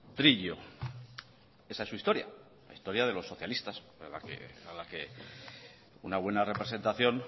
trillo esa es su historia la historia de los socialistas a la que una buena representación